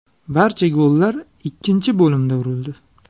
Barcha gollar ikkinchi bo‘limda urildi.